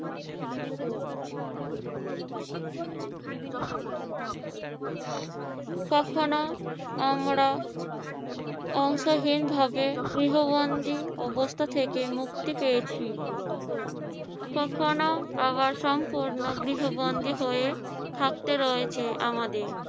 কখনো আমরা আশ্রয়হীনভাবে গৃহবন্দি অবস্থা থেকে মুক্তি পেয়াছি, কখনো আবার সম্পূর্ণ গৃহবন্দি হয়ে থাকতে হয়েছে আমাদের।